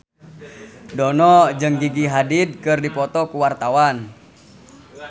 Dono jeung Gigi Hadid keur dipoto ku wartawan